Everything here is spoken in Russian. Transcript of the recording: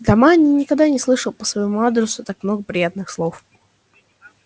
дома они никогда не слышала по своему адресу так много приятных слов